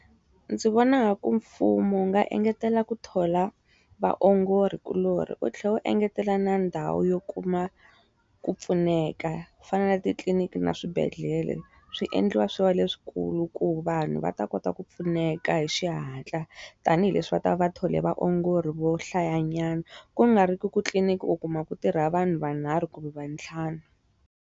Ndzi vona ku mfumo wu nga engetela ku thola vaongorikuloni wu tlhela u engetela na ndhawu yo kuma ku pfuneka, ku fana na titliniki na swibedhlele. Swi endliwa swi wa leswikulu ku vanhu va ta kota ku pfuneka hi xihatla, tanihileswi va ta va thole vaongori vo hlayanyana. Ku nga ri ki ku titliniki u kuma ku tirha vanhu va nharhu kumbe va ntlhanu.